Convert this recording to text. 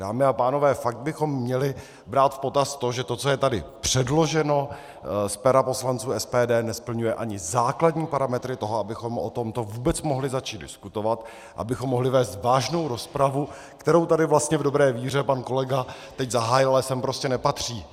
Dámy a pánové, fakt bychom měli brát v potaz to, že to, co je tady předloženo z pera poslanců SPD, nesplňuje ani základní parametry toho, abychom o tomto vůbec mohli začít diskutovat, abychom mohli vést vážnou rozpravu, kterou tady vlastně v dobré víře pan kolega teď zahájil, ale sem prostě nepatří.